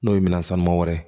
N'o ye minan sanuman wɛrɛ